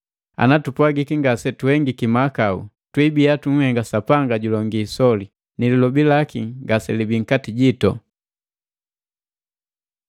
Ana tupwagiki ngase tuhengiki mahakau, twibiya tunhengiki Sapanga julonge isoli, ni lilobi laki ngaselibii nkati jitu.